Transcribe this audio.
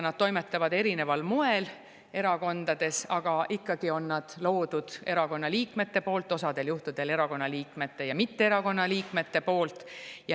Nad toimetavad erakondades erineval moel, aga nad on ikkagi loodud erakonna liikmete poolt, osal juhtudel erakonna liikmete ja mitte erakonna liikmete poolt.